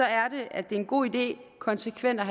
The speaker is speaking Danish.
er det at det er en god idé konsekvent at